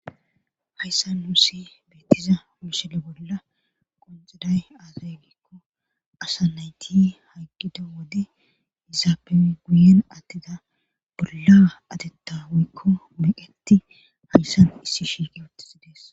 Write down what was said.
Hayssa nusssi beettiza misille bolla qoncaday aazegikko asa nayti haggido wode izaape guyen attida bolla atettawuykko meyetti hayssan issi shiiqe woottisidees